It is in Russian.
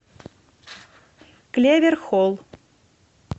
клевер холл